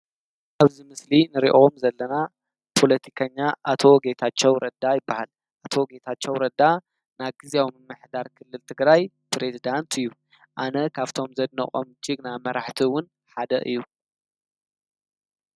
ኣብዚ ምስሊ ንርእኦም ዘለና ፖለቲከኛ ኣቶ ጌታቸው ረዳ ይበሃል ። ኣቶ ጌታቸው ረዳ ና ጊዜያዊ ምምሕዳር ክልል ትግራይ ፕሬዝዳንት እዩ። ኣነ ካብቶም ዘነቖም ጅግና መራሕቲውን ሓደ እዩ።